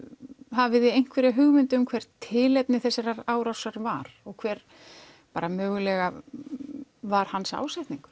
hafið þið einhverja hugmynd um hvert tilefni þessarar árásar var og hver mögulega var hans ásetningur